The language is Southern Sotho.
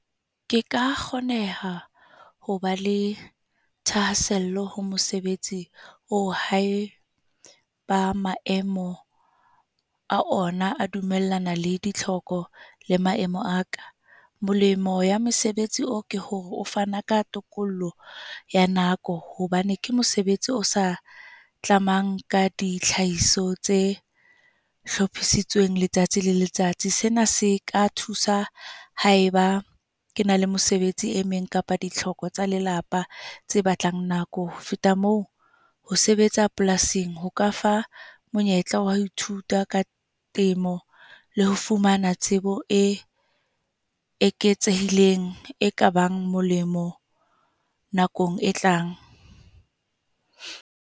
Ke ka kgoneha ho ba le thahasello ho mosebetsi o hae ba maemo a ona a dumellana le ditlhoko le maemo a ka. Molemo ya mosebetsi oo ke hore o fana ka tokollo ya nako hobane ke mosebetsi o sa tlamang ka ditlhahisa tse hlophisitsweng letsatsi le letsatsi. Sena se ka thusa haeba ke na le mesebetsi e meng kapa ditlhoko tsa lelapa tse batlang nako. Ho feta moo, ho sebetsa polasing ho ka fa monyetla wa ithuta ka temo le ho fumana tsebo e eketsehileng e kabang molemo nakong e tlang.